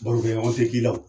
Baro kɛɲɔgɔn tɛ k'i la o.